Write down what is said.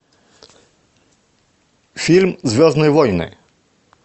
фильм звездные войны